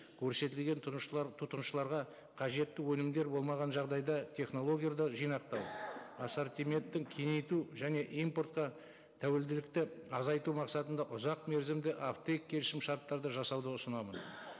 көрсетілген тұтынушыларға қажетті өнімдер болмаған жағдайда жинақтау ассортиментін кеңейту және импортқа тәуелділікті азайту мақсатында ұзақ мерзімді келісімшарттарды жасауды ұсынамыз